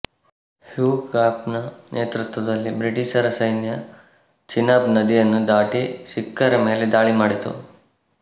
ಹ್ಯೂಗಾಫನ ನೇತೃತ್ವದಲ್ಲಿ ಬ್ರಿಟಿಷರ ಸೈನ್ಯ ಚೀನಾಬ್ ನದಿಯನ್ನು ದಾಟಿ ಸಿಕ್ಖರ ಮೇಲೆ ಧಾಳಿ ಮಾಡಿತು